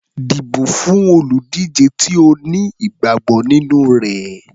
Dìbò fún olùdíje tí o ní ìgbàgbọ́ nínú rẹ̀.